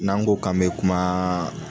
N'an go k'an bɛ kuma